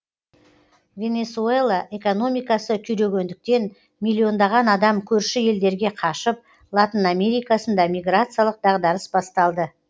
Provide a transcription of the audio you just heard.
венесуэла экономикасы күйрегендіктен миллиондаған адам көрші елдерге қашып латын америкасында миграциялық дағдарыс басталды